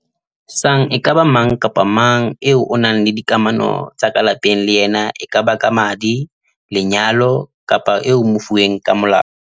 sang e ka ba mang kapa mang eo o nang le dikamano tsa ka lapeng le yena e kaba ka madi, lenyalo kapa eo o mofuweng ka molao.